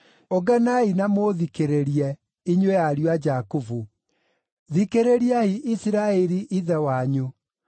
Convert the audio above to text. “Ũnganai na mũthikĩrĩrie, inyuĩ ariũ a Jakubu; thikĩrĩriai Isiraeli ithe wanyu.